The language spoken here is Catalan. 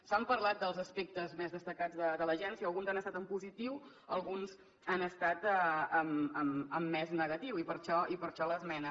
s’ha parlat dels aspectes més destacats de l’agència alguns han estat en positiu alguns han estat en més negatiu i per això l’esmena